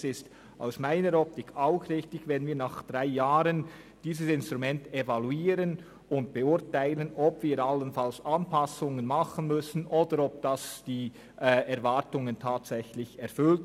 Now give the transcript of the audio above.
Es ist aus meiner Optik auch richtig, wenn wir dieses Instrument nach drei Jahren evaluieren und beurteilen, ob wir allenfalls Anpassungen vornehmen müssen oder ob es die Erwartungen tatsächlich erfüllt.